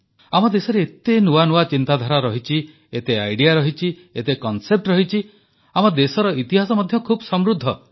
ଆମ ଦେଶରେ ଏତେ ନୂଆ ନୂଆ ଚିନ୍ତାଧାରା ରହିଛି ଏତେ ଆଇଡିଆ ରହିଛି ଏତେ କନସେପ୍ଟ ରହିଛି ଆମ ଦେଶର ଇତିହାସ ମଧ୍ୟ ଖୁବ ସମୃଦ୍ଧ